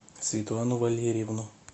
светлану валерьевну